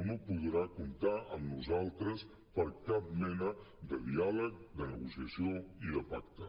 o no podrà comptar amb nosaltres per cap mena de diàleg de negociació i de pacte